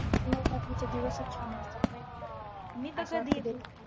नवरात्रीचे दिवसच छान असतात ग एकदम मी तर कधी अग तिथे